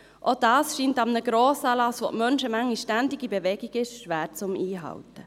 Auch das scheint an einem Grossanlass, an dem die Menschenmenge ständig in Bewegung ist, schwer einzuhalten.